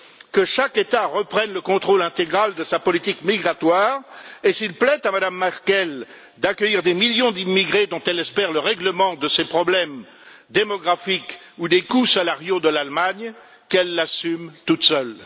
que chaque État reprenne le contrôle intégral de sa politique migratoire et, s'il plaît à Mme Merkel d'accueillir des millions d'immigrés, dont elle espère qu'ils règleront les problèmes démographiques ou de coûts salariaux de l'Allemagne, qu'elle l'assume toute seule.